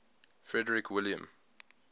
frederick william